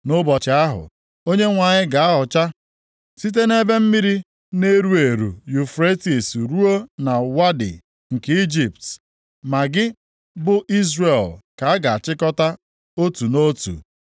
Nʼụbọchị ahụ, Onyenwe anyị ga-ahọcha site nʼebe mmiri na-eru eru Yufretis ruo na Wadi nke Ijipt, ma gị, bụ Izrel ka a ga-achịkọta otu nʼotu.